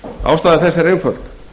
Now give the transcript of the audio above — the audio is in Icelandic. ástæða þess er einföld